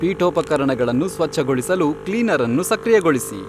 ಪೀಠೋಪಕರಣಗಳನ್ನು ಸ್ವಚ್ಛಗೊಳಿಸಲು ಕ್ಲೀನರ್ ಅನ್ನು ಸಕ್ರಿಯಗೊಳಿಸಿ